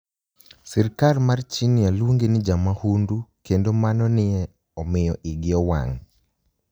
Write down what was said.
Sirkal mar Chinia luonige nii jamahunidu, kenido mano ni e omiyo igi owanig '.